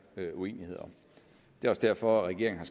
uenighed om det er også derfor regeringen